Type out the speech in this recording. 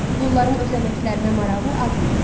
Qulların öz əməklərinə marağı az idi.